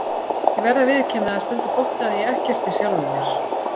Ég verð að viðurkenna að stundum botnaði ég ekkert í sjálfum mér.